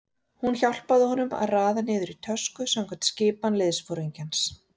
Hún hjálpaði honum að raða niður í tösku samkvæmt skipan liðsforingjans.